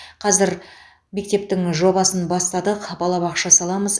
қазір мектептің жобасын бастадық балабақша саламыз